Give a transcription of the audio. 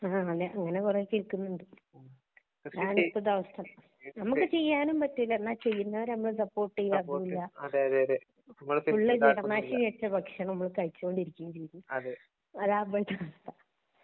ങ്ഹാ അങ്ങനെ കുറെ കേൾക്കുന്നുണ്ട് അതാണ് ഇപ്പോഴത്തെ അവസ്ഥ . നമുക്ക് ചെയ്യാനും പറ്റില്ല എന്നാല് ചെയ്യുന്നവരെ നമ്മള് സപോർട്ട് ചെയ്യാ അതുമില്ല ഫുള്ള് കീട നാശിനി അടിച്ച ഭക്ഷണം നമ്മള് കഴിച്ചു കൊണ്ടിരിക്കുകയും ചെയ്യുന്നു . അതാന്നിപ്പോഴത്തെ അവസ്ഥ